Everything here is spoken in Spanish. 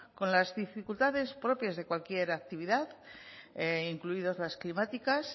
con las dificultades propias de cualquier actividad incluidas las climáticas